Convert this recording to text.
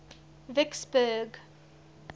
vicksburg